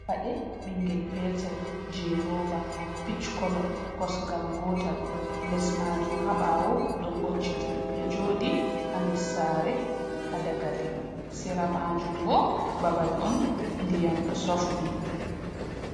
Paɗe ɓingel petel je roba picch kolo kosgal gotal les majum ha bawo ɗo ngocciti ɗo joɗi ha nder sare ha dagali sera majum bo babal on ndiyam ɗo sofni.